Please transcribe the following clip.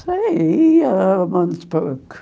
Saía aos pouco.